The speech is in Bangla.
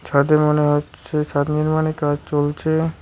ছাদে মনে হচ্ছে ছাদ নির্মাণের কাজ চলছে।